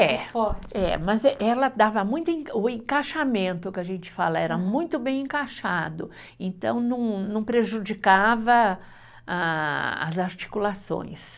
É,é mas eh ela dava muito em, o encaixamento que a gente fala era muito bem encaixado, então não não prejudicava a, as articulações.